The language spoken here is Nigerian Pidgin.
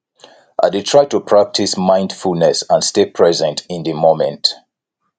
i dey try to practice mindfulness and stay present in di moment